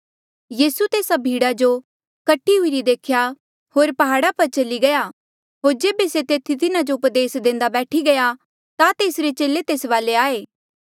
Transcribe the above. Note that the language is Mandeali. यीसू तेस्सा भीड़ा जो कट्ठी हुईरी देखी होर प्हाड़ा पर चली गया होर जेबे से तेथी तिन्हा जो उपदेस देंदे बैठी गया ता तेसरे चेले तेस वाले आये